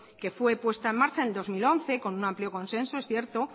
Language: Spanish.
que fue puesta en marcha en dos mil once con un amplio consenso es cierto